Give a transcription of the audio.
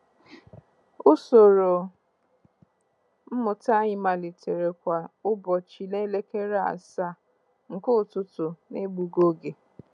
Usoro mmụta anyị malitere kwa ụbọchị n'elekere asaa nke ụtụtụ n'egbughị oge.